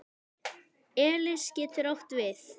Elis getur átt við